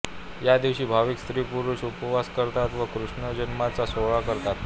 या दिवशी भाविक स्त्रीपुरुष उपवास करतात व कृष्ण जन्माचा सोहळा करतात